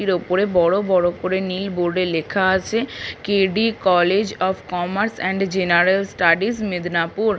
এর উপরে বড় বড় করে নীল বোর্ড লেখা আছে K D. College of commerce and general studies Medinipur.